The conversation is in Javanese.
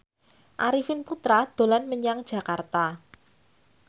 Arifin Putra dolan menyang Jakarta